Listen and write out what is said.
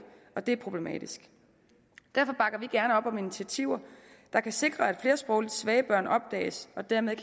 og det er problematisk derfor bakker vi gerne op om initiativer der kan sikre at flere sprogligt svage børn opdages og dermed